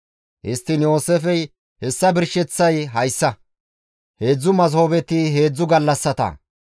Histtiin Yooseefey, «Hessa birsheththay hayssa; heedzdzu masoobeti heedzdzu gallassata.